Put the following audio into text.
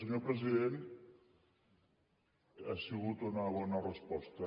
senyor president ha sigut una bona resposta